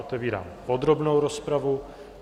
Otevírám podrobnou rozpravu.